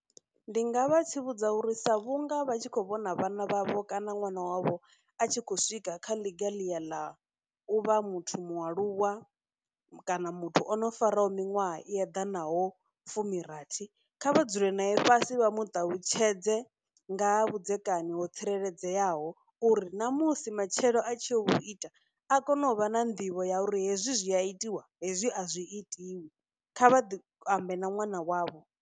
Ndi nga vha tsivhudza uri sa vhunga vha tshi khou vhona vhana vha vho kana ṅwana wavho a tshi khou swika kha ḽiga ḽi ya ḽa u vha muthu mualuwa kana muthu o no faraho miṅwaha i eḓanaho fumirathi, kha vha dzule nae fhasi vha mu ṱalutshedze nga ha vhudzekani ho tsireledzeaho uri na musi matshelo a tshi ya u vhu ita a kone u vha na nḓivho ya uri hezwi zwi a itiwa, hezwi a zwi itiwi. Kha vha ambe na ṅwana wavho.